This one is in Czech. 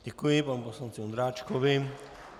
Děkuji panu poslanci Ondráčkovi.